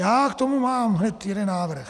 Já k tomu mám hned jeden návrh.